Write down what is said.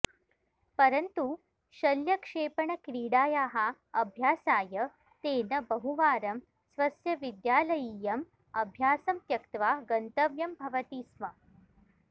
परन्तु शल्यक्षेपणक्रीडायाः अभ्यासाय तेन बहुवारं स्वस्य विद्यालयीयम् अभ्यासं त्यक्त्वा गन्तव्यं भवति स्म